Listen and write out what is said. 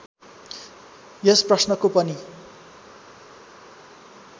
यस प्रश्नको पनि